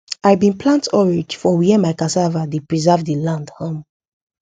i been plant orange for where my cassava dey preserve the land um